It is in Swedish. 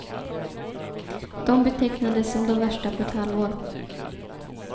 De betecknades som de värsta på ett halvår.